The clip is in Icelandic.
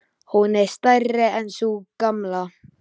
Hún er stærri en sú gamla.